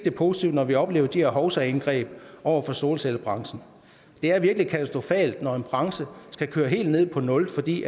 er positivt når vi oplever de her hovsaindgreb over for solcellebranchen det er virkelig katastrofalt når en branche skal køre helt ned på nul fordi